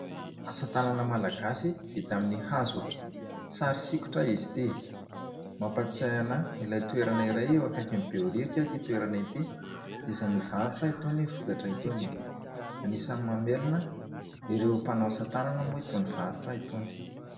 Asatanana Malagasy vita amin'ny hazo. Sary sikotra izy ity. Mampatsiahy ahy toerana iray eo akaikin'ny behoririka ity toerana ity izay mivarotra itony vokatra itony. Anisany mamelona ireo mpanao asatanana moa itony varotra itony.